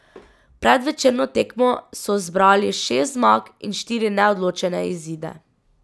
Pred večerno tekmo so zbrali šest zmag in štiri neodločene izide.